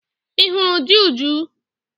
Ị hụrụ di Uju?